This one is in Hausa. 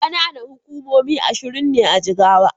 Ƙananan hukumomi ashirin ne a Jigawa.